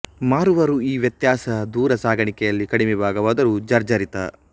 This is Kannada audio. ಮಾರುವರು ಈ ವ್ಯತ್ಯಾಸ ದೂರ ಸಾಗಾಣಿಕೆಯಲ್ಲಿ ಕಡಿಮೆ ಭಾಗವಾದರೂ ಜರ್ಝರಿತ